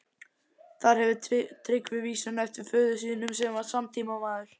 Þar hefur Tryggvi vísuna eftir föður sínum, sem var samtímamaður